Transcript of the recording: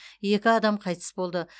екі адам қайтыс болды